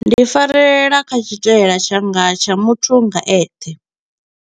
Ndi farelela kha tshitaila tshanga tsha muthu nga eṱhe.